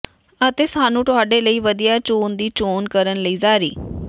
ਅਤੇ ਸਾਨੂੰ ਤੁਹਾਡੇ ਲਈ ਵਧੀਆ ਚੋਣ ਦੀ ਚੋਣ ਕਰਨ ਲਈ ਜਾਰੀ